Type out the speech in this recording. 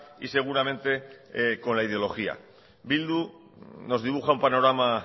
y seguramente con la ideología bildu nos dibuja un panorama